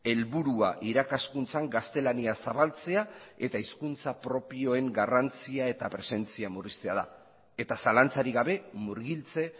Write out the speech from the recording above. helburua irakaskuntzan gaztelania zabaltzea eta hizkuntza propioen garrantzia eta presentzia murriztea da eta zalantzarik gabe murgiltze